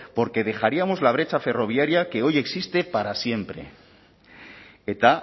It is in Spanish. porque dejaríamos la brecha ferroviaria que hoy existe para siempre eta